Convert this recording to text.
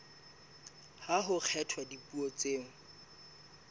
ha ho kgethwa dipuo tseo